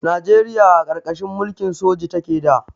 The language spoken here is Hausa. Najeriya a ƙarƙashin mulkin soji take da.